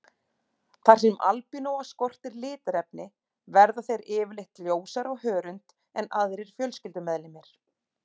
Þar sem albínóa skortir litarefni verða þeir yfirleitt ljósari á hörund en aðrir fjölskyldumeðlimir.